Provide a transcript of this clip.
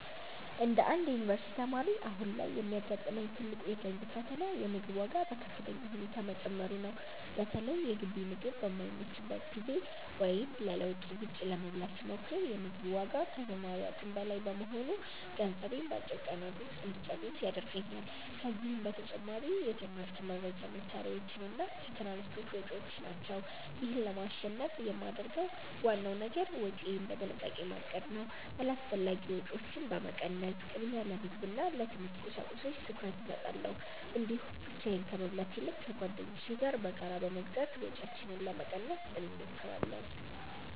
እንደ አንድ የዩኒቨርሲቲ ተማሪ፣ አሁን ላይ የሚያጋጥመኝ ትልቁ የገንዘብ ፈተና የምግብ ዋጋ በከፍተኛ ሁኔታ መጨመሩ ነው። በተለይ የግቢ ምግብ በማይመችበት ጊዜ ወይም ለለውጥ ውጭ ለመብላት ስሞክር፤ የ ምግቡ ዋጋ ከተማሪ አቅም በላይ በመሆኑ ገንዘቤን በአጭር ቀናት ውስጥ እንጨርስ ያደርገኛል። ከዚህም በተጨማሪ የትምህርት መርጃ መሣሪያዎችና የትራንስፖርት ወጪዎች ናቸው። ይህን ለማሸነፍ የማደርገው ዋናው ነገር ወጪዬን በጥንቃቄ ማቀድ ነው። አላስፈላጊ ወጪዎችን በመቀነስ፣ ቅድሚያ ለምግብና ለትምህርት ቁሳቁሶች ትኩረት እሰጣለሁ። እንዲሁም ብቻዬን ከመብላት ይልቅ ከጓደኞቼ ጋር በጋራ በመግዛት ወጪያችንን ለመቀነስ እንሞክራለን።